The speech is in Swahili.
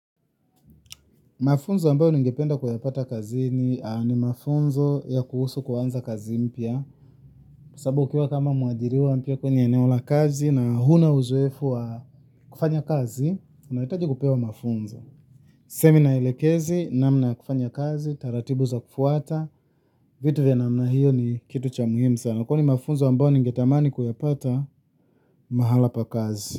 Mafunzo ambayo ningependa kuyapata kazini ni mafunzo ya kuhusu kuanza kazi mpya sababu ukiwa kama mwaajiriwa mpya kwenye eneo la kazi na huna uzoefu wa kufanya kazi, unahitaji kupewa mafunzo. Semina ielekeze, namna ya kufanya kazi, taratibu za kufuata, vitu vya namna hiyo ni kitu cha muhimu sana. Kwani mafunzo ambayo ningetamani kuyapata mahala pa kazi.